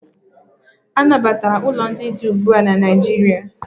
Anabatara ụlọ ndị dị ugbu a na Naịjirịa.